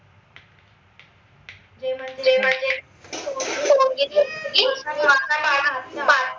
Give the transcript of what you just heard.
जे म्हनजे पोरगी